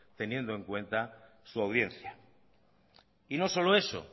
teniendo en cuenta su audiencia y no solo eso